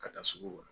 Ka taa sugu kɔnɔ